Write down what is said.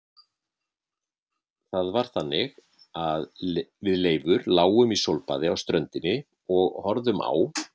Það var þannig að við Leifur lágum í sólbaði á ströndinni og horfðum á